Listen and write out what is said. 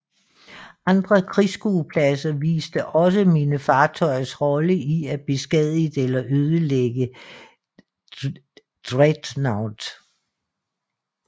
Andre krigsskuepladser viste også mine fartøjers rolle i at beskadige eller ødelægge dreadnoughts